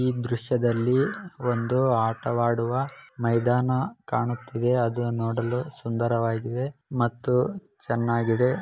ಈ ದೃಶ್ಯದಲ್ಲಿ ಆಟ ಆಡುವ ಮೈದಾನ ಕಾಣಿಸುತ್ತಿದೆ ಅದು ನೋಡಲು ಸುಂದರವಾಗಿದೆ ಮತ್ತು ಚೆನ್ನಾಗಿದೆ.